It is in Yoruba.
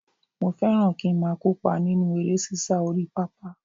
Mo fẹ́ràn kí ń máa kópa nínú eré sísá orí pápá